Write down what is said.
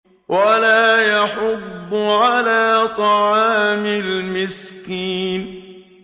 وَلَا يَحُضُّ عَلَىٰ طَعَامِ الْمِسْكِينِ